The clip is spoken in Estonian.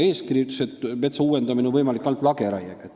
Eeskiri aga ütles, et metsa on võimalik uuendada ainult lageraiega.